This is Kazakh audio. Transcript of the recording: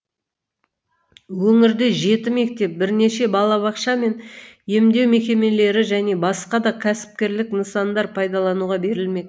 өңірде жеті мектеп бірнеше балабақша мен емдеу мекемелері және басқа да кәсіпкерлік нысандар пайдалануға берілмек